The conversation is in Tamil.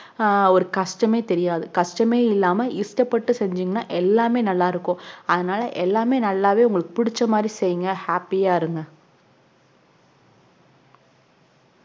ஆஹ் ஒரு கஷ்டமே தெரியாது கஷ்டமே இல்லாம இஷ்டப்பட்டு சென்ஜீங்கனா எல்லாமே நல்லாயிருக்கும் அதனால் எல்லாமே நல்லாவே புடிச்ச மாதிரி செய்ங்க happy ஆஹ் இருங்க